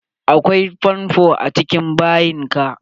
Akwai fonfo a cikin bayin ka?